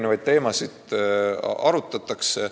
Neid teemasid arutatakse.